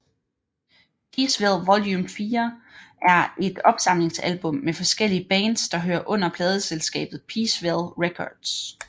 Peaceville Volume 4 er et opsamlingsalbum med forskellige bands der hører under pladeselskabet Peaceville Records